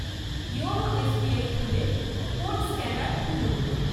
YONO SBI খুলে code scanner খুলুন।